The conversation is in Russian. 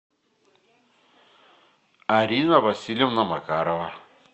арина васильевна макарова